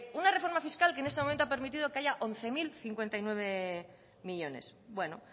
una reforma fiscal que en este momento ha permitido que haya once mil cincuenta y nueve millónes bueno